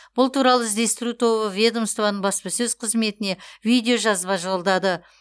бұл туралы іздестіру тобы ведомствоның баспасөз қызметіне видеожазба жолдады